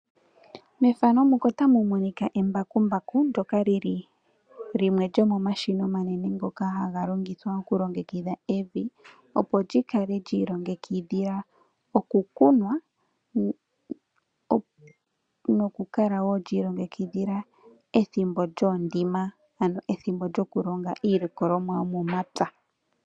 Embakumbaku olili limwe lomomashina omanene ngoka haga longithwa oku longekidha evi opo likale lilongekidhilwa okukunwa noku kala wo lilongekidhila ethimbo lyoondima ano ethimbo lyokulonga iilongolomwa yomomapya.